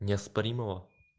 неоспоримого